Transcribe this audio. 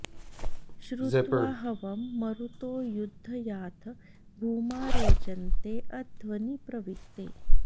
श्रुत्वा हवं मरुतो यद्ध याथ भूमा रेजन्ते अध्वनि प्रविक्ते